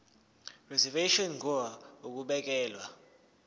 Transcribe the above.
reservation ngur ukubekelwa